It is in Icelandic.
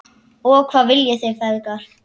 Og hvað viljið þið feðgar?